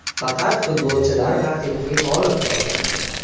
Faqat futbolchilar haqiqiy g‘olib hisoblanadi”.